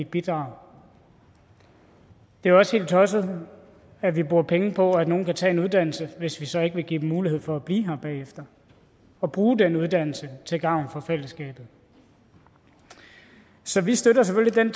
bidrag det er også helt tosset at vi bruger penge på at nogle kan tage en uddannelse hvis vi så ikke vil give dem mulighed for at blive her bagefter og bruge den uddannelse til gavn for fællesskabet så vi støtter selvfølgelig